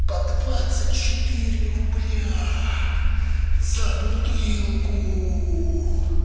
по двадцать четыре рубля за бутылку